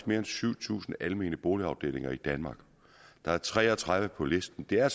mere end syv tusind almene boligafdelinger i danmark og der er tre og tredive på listen det er